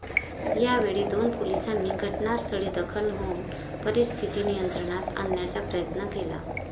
यावेळी दोन पोलिसांनी घटनास्थळी दाखल होऊन परिस्थिती नियंत्रणात आणण्याचा प्रयत्न केला.